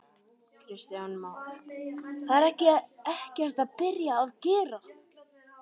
Kristján Már: Það er ekkert byrjað að gera?